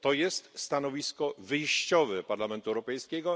To jest stanowisko wyjściowe Parlamentu Europejskiego.